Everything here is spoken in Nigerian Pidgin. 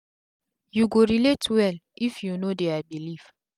u go relate well if u know dia belief